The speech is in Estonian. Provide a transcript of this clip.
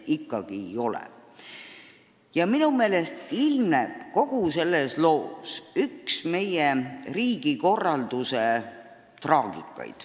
Minu meelest ilmneb kogu selles loos meie riigikorralduse traagika.